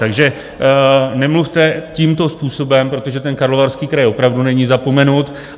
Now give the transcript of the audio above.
Takže nemluvte tímto způsobem, protože ten Karlovarský kraj opravdu není zapomenut.